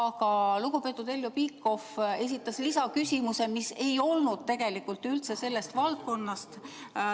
Aga lugupeetud Heljo Pikhof esitas lisaküsimuse, mis ei olnud tegelikult üldse selle valdkonna kohta.